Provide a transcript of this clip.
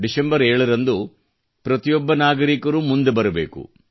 December 7 ರಂದು ಪ್ರತಿಯೊಬ್ಬ ನಾಗರಿಕರೂ ಮುಂದೆ ಬರಬೇಕು